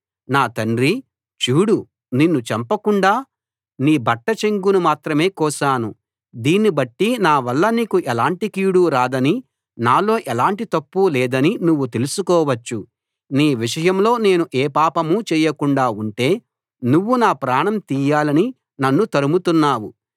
నా తండ్రీ చూడు నిన్ను చంపకుండా నీ బట్ట చెంగును మాత్రమే కోశాను దీన్ని బట్టి నా వల్ల నీకు ఎలాంటి కీడూ రాదనీ నాలో ఎలాంటి తప్పూ లేదనీ నువ్వు తెలుసుకోవచ్చు నీ విషయంలో నేను ఏ పాపమూ చేయకుండా ఉంటే నువ్వు నా ప్రాణం తీయాలని నన్ను తరుముతున్నావు